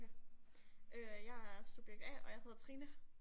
Øh jeg er subjekt A, og jeg hedder Trine.